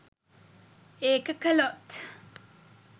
ඒක කළොත්